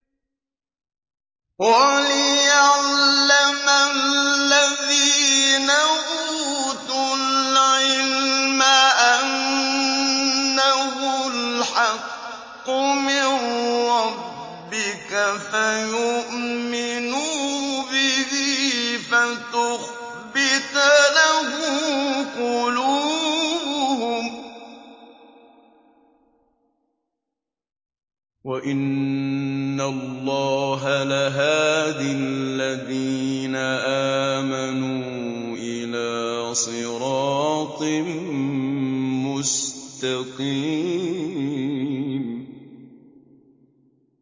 وَلِيَعْلَمَ الَّذِينَ أُوتُوا الْعِلْمَ أَنَّهُ الْحَقُّ مِن رَّبِّكَ فَيُؤْمِنُوا بِهِ فَتُخْبِتَ لَهُ قُلُوبُهُمْ ۗ وَإِنَّ اللَّهَ لَهَادِ الَّذِينَ آمَنُوا إِلَىٰ صِرَاطٍ مُّسْتَقِيمٍ